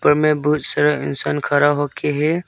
इसमें बहुत सारा इंसान खरा हो के है।